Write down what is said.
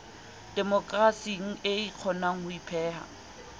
demokerasing e kgonang ho ipeha